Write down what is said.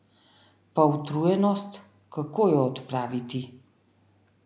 Pa utrujenost, kako jo odpraviti?